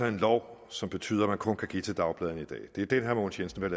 en lov som betyder at man kun kan give til dagbladene i dag det er den herre mogens jensen vil